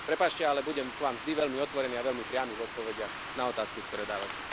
Prepáčte, ale budem k Vám vždy veľmi otvorený a veľmi priamy v odpovediach na otázky, ktoré dávate.